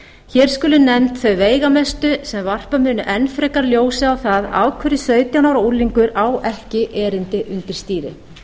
hér skulu nefnd þau veigamestu sem varpa munu enn frekar ljósi á það af hverju sautján ára unglingur á ekki erindi undir stýrið að